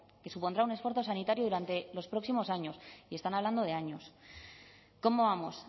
que supondrá un esfuerzo sanitario durante los próximos años y están hablando de años cómo vamos